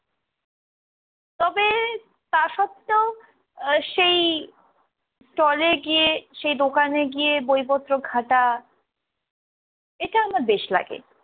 তবে তা সত্তেও আহ সেই stall এ গিয়ে সেই দোকানে গিয়ে বইপত্র ঘাটা এটা আমার বেশ লাগে।